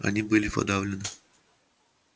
они были подавлены